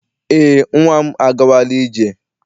Eé, nnwa m agawala ije.